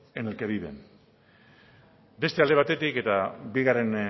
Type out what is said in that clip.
en el que viven beste alde batetik eta bigarren